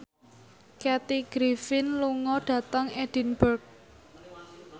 Kathy Griffin lunga dhateng Edinburgh